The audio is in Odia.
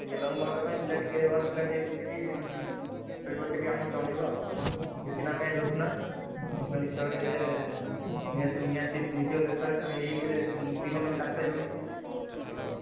ଟିକେ long boundary ପାଇଁ ପିଲା ଟିକେ ଭଲ ପିଲା ଟିକେ ଖୋଜିକି ଉଁ ମତେ ଟିକେ ଆମୁକୁ ଜଣେଇବ ଆଉ। ଜିତିଲା ଧରିଛୁ ନା ମାନେ ଖେଳରେ ଏଁ ନିହାତି ~ଜି ଜିତିବା ଦରକାର କାହିଁକି ଏହି ପରେ ଦିଟା match ହାରିସାଇଲୁଣି ସେଥିପାଇଁ।